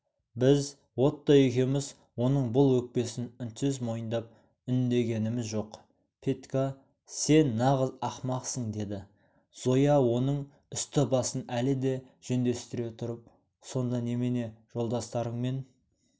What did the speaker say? біз отто екеуміз оның бұл өкпесін үнсіз мойындап үндегеніміз жоқ петька сен нағыз ақымақсың деді зоя оның үсті-басын әлі де жөндестіре тұрып сонда немене жолдастарыңмен